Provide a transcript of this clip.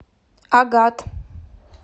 агат